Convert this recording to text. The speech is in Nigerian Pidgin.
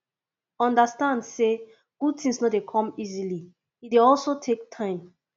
understand say good things no de come easily e de also take time